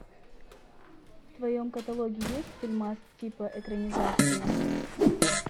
в твоем каталоге есть фильмас типа экранизации